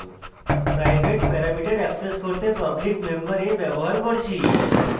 private parameter access করতে public member a ব্যবহার করেছি